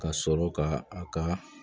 Ka sɔrɔ ka a ka